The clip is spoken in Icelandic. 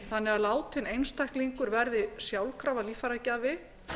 þannig að látinn einstaklingur verði sjálfkrafa líffæragjafi